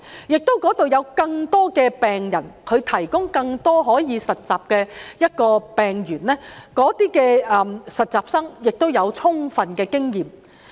那裏亦有更多病人，可以提供更多實習的病例，讓實習生獲取充分的經驗。